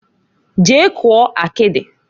Jee kụọ akidiǃ